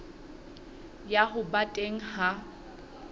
ya ho ba teng ha